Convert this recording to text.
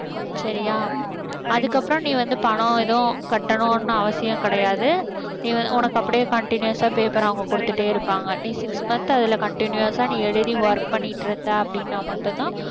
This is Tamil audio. சரியா? அதுக்கப்புறம் நீ வந்து பணம் எதுவும் கட்டணும்னு அவசியம் கிடையாது நீ உனக்கு அப்படியே continuous ஆ paper அவங்ககுடுத்துட்டே இருப்பாங்க. நீ six month அதுல continuous ஆ நீ எழுதி work பண்ணிட்ருந்த அப்படின்னா மட்டும்தான்